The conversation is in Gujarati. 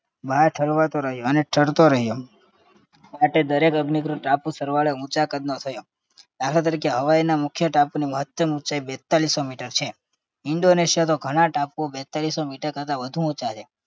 બહાર ઠરવાતો રહ્યો અને ઠરતો રહ્યો માટે દરેક અગ્નિકૃત ટાપુ સરવાળે ઊંચા કદનો થયો દાખલા તરીકે હવાઇના મુખ્ય ટાપુની મહત્તમ ઊંચાઈ બેત્તાલીસો meter છે. indonesia તો ઘણા ટાપુઓ બેત્તાલીસો meter કરતા વધુ ઊંચા છે